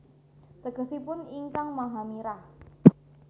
Tegesipun Ingkang Maha Mirah